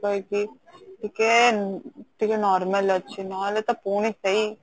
ଟିକେ ଟିକେ normal ଅଛି ନହେଲେ ତ ପୁଣି ସେଇ